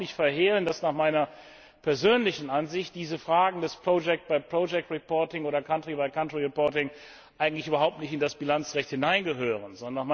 Ich will überhaupt nicht verhehlen, dass nach meiner persönlichen Ansicht diese Fragen des project by project reporting oder country by country reporting eigentlich überhaupt nicht in das Bilanzrecht hineingehören.